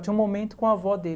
Tinha um momento com a avó dele.